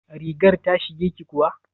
Rigar ta shige ki kuwa?